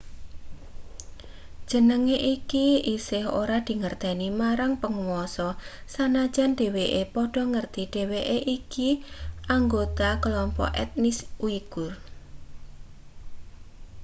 jenenge iku isih ora dingerteni marang panguasa sanajan dheweke padha ngerti dheweke iku anggota kelompok etnis uigur